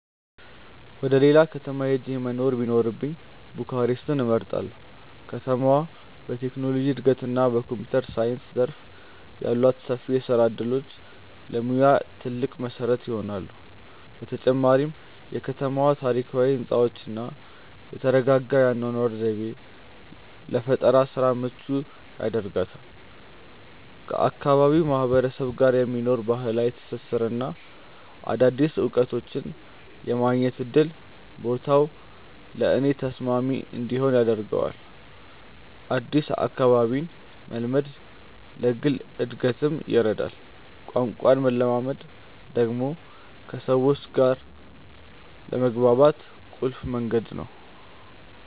ወደ ሌላ ከተማ ሄጄ መኖር ቢኖርብኝ ቡካሬስትን እመርጣለሁ። ከተማዋ በቴክኖሎጂ እድገትና በኮምፒውተር ሳይንስ ዘርፍ ያሏት ሰፊ የስራ እድሎች ለሙያዬ ትልቅ መሰረት ይሆናሉ። በተጨማሪም የከተማዋ ታሪካዊ ህንፃዎችና የተረጋጋ የአኗኗር ዘይቤ ለፈጠራ ስራ ምቹ ያደርጋታል። ከአካባቢው ማህበረሰብ ጋር የሚኖረኝ ባህላዊ ትስስርና አዳዲስ እውቀቶችን የማግኘት እድል ቦታው ለእኔ ተስማሚ እንዲሆን ያደርገዋል። አዲስ አካባቢን መልመድ ለግል እድገትም ይረዳል። ቋንቋን መለማመድ ደግሞ ከሰዎች ጋር ለመግባባት ቁልፍ መንገድ ነው።